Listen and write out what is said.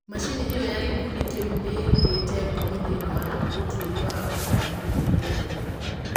Macini ĩo ya gĩkundi kĩu nĩ-ĩigite ngumo thĩiniĩ wa ũtwĩria wa kũraya mũno rĩerainĩ.